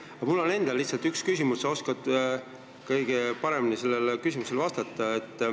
Aga mul on endal üks küsimus ja sina oskad ilmselt kõige paremini sellele vastata.